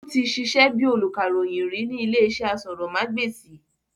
Ó ti sisẹ́ bíi olùkàròyìn ri ní ilé iṣẹ́ asọ̀rọ̀mágbèsì